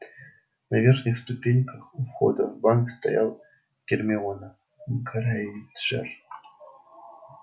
на верхних ступеньках у входа в банк стоял гермиона грэйнджер